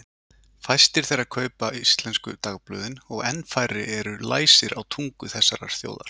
Fæstir þeirra kaupa íslensku dagblöðin og enn færri eru læsir á tungu þessarar þjóðar.